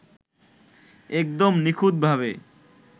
একদম নিখুঁতভাবে